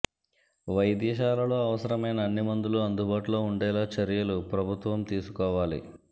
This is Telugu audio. వైద్యశాలలో అవసరమైన అన్ని మందులు అందుబాటులో ఉండేలా చర్యలు ప్రభుత్వం తీసుకోవాలి